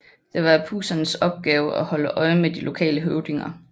Det var Apusernes opgave at holde øje med de lokale høvdinger